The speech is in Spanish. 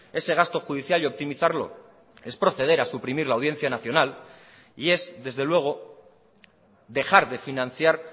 ese gasto judicial y optimizarlo es proceder a suprimir la audiencia nacional y es desde luego dejar de financiar